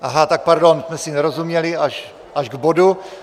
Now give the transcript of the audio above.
Aha, tak pardon, jsme si nerozuměli, až k bodu.